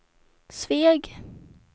Sveg